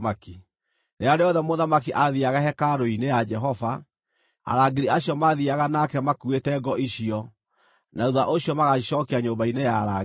Rĩrĩa rĩothe mũthamaki aathiiaga hekarũ-inĩ ya Jehova, arangĩri acio maathiiaga nake makuuĩte ngo icio, na thuutha ũcio magacicookia nyũmba-inĩ ya arangĩri.